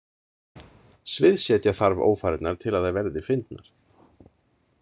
Sviðsetja þarf ófarirnar til að þær verði fyndnar.